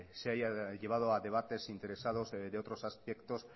se haya llevado a debates interesados de otros aspectos